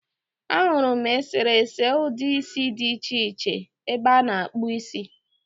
Ahụrụ eserese ụdị isi dị iche iche ebe a na-akpụ isi.